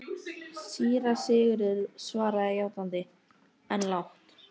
Það hvarflar ekki að mér fyrr en íbúðin gljáir.